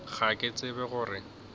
ga ke tsebe go re